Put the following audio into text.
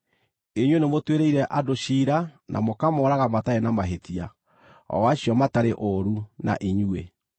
Inyuĩ nĩ mũtuĩrĩire andũ ciira na mũkamooraga matarĩ na mahĩtia, o acio matarĩ ũũru na inyuĩ.